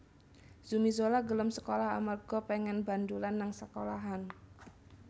Zumi Zola gelem sekolah amarga pengen bandulan nang sekolahan